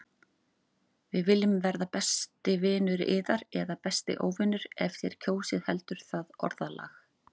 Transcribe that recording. Við viljum verða besti vinur yðar- eða besti óvinur- ef þér kjósið heldur það orðalag.